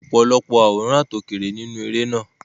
Wọ́n ṣe ọ̀pọ̀lọpọ̀ àwòrán àtòkèèrè nínú eré náà.